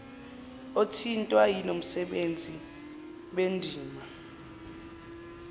othintwa yilomsebenzi banendima